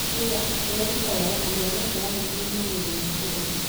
Akiuga "tũreruta wega na mwerekera witũ nĩ magerio ma fururi